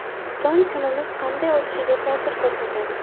Tong kunimiz qanday o‘tishiga ta’sir ko‘rsatadi.